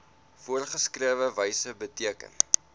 voorgeskrewe wyse beteken